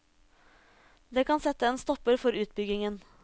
Det kan sette en stopper for utbyggingen.